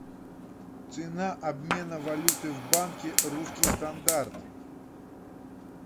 цена обмена валюты в банке русский стандарт